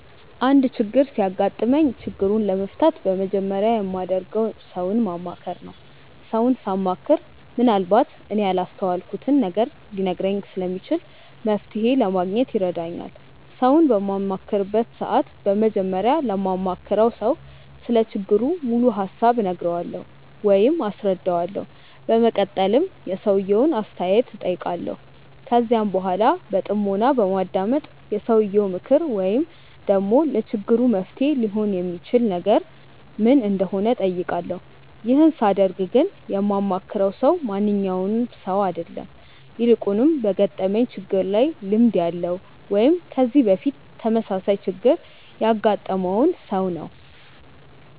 አንድ ችግር ሲያጋጥመኝ ችግሩን ለመፍታት በመጀመሪያ የማደርገው ሰውን ማማከር ነው። ሰውን ሳማክር ምንአልባት እኔ ያላስተዋልኩትን ነገር ሊነግረኝ ስለሚችል መፍተሔ ለማግኘት ይረዳኛል። ሰውን በማማክርበት ሰዓት በመጀመሪያ ለማማክረው ሰው ስለ ችግሩ ሙሉ ሀሳብ እነግረዋለሁ ወይም አስረዳዋለሁ። በመቀጠልም የሰውየውን አስተያየት እጠይቃለሁ። ከዚያም በኃላ በጥሞና በማዳመጥ የሰውየው ምክር ወይም ደግሞ ለችግሩ መፍትሔ ሊሆን የሚችል ነገር ምን እንደሆነ እጠይቃለሁ። ይህን ሳደርግ ግን የማማክረው ሰው ማንኛውም ሰው አይደለም። ይልቁንም በገጠመኝ ችግር ላይ ልምድ ያለው ወይም ከዚህ በፊት ተመሳሳይ ችግር ያገጠመውን ሰው ነው።